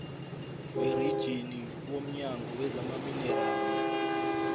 werijini womnyango wezamaminerali